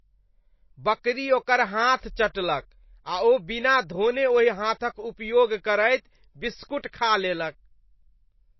बकरी ओकर हाथ चटलक, आ ओ बिना धोने ओहि हाथक उपयोग करैत बिस्कुट खा लेलक।